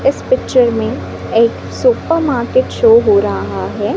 इस पिक्चर में एक सुपर मार्केट शो हो रहा है।